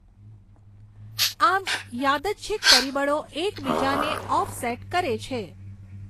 આમ યાદચ્છિક પરિબળો એક બીજાને ઓફસેટ કરે છે.